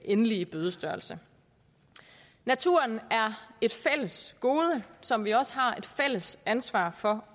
endelige bødestørrelse naturen er et fælles gode som vi også har et fælles ansvar for